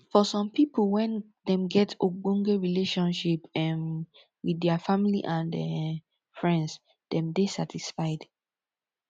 for some pipo when dem get ogbonge relationship um with their family and um friends dem dey satisfied